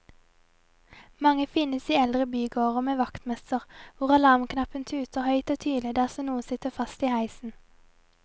Mange finnes i eldre bygårder med vaktmester, hvor alarmknappen tuter høyt og tydelig dersom noen sitter fast i heisen.